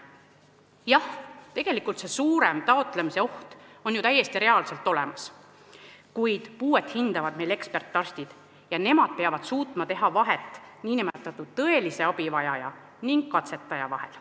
Jah, tegelikult see suurem taotlemise oht on ju täiesti reaalselt olemas, kuid puuet hindavad meil ekspertarstid ning nemad peavad suutma teha vahet tõelise abivajaja ja katsetaja vahel.